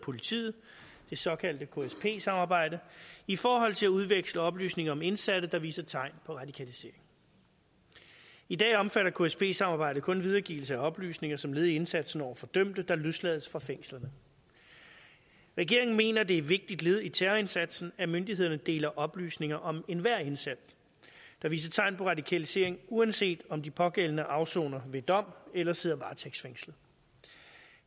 politiet det såkaldte ksp samarbejde i forhold til at udveksle oplysninger om indsatte der viser tegn på radikalisering i dag omfatter ksp samarbejdet kun videregivelse af oplysninger som led i indsatsen over for dømte der løslades fra fængslerne regeringen mener det er et vigtigt led i terrorindsatsen at myndighederne deler oplysninger om enhver indsat der viser tegn på radikalisering uanset om de pågældende afsoner ved dom eller sidder varetægtsfængslet